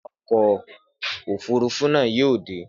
Nígbà wo ni awakọ̀ ọkọ̀ òfúrufú náà yóò dé?